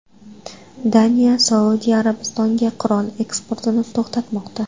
Daniya Saudiya Arabistoniga qurol eksportini to‘xtatmoqda.